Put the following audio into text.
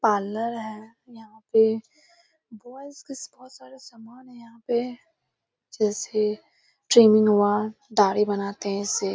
Parlour है यहाँ पे। बॉयज के बहुत सारे सामान हैं यहाँ पे जैसे ट्रिम हुआ दाढ़ी बनाते हैं इससे।